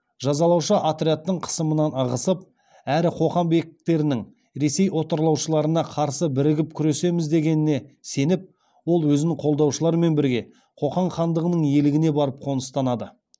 жазалаушы отрядтың қысымынан ығысып әрі қоқан бектерінің ресей отарлаушыларына қарсы бірігіп күресеміз дегеніне сеніп ол өзін қолдаушылармен бірге қоқан хандығының иелігіне барып қоныстанады